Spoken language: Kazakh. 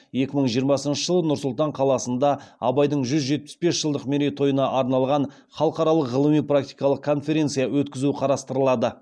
екі мың жиырмасыншы жылы нұр сұлтан қаласында абайдың жүз жетпіс бес жылдық мерейтойына арналған халықаралық ғылыми практикалық конференция өткізу қарастырылады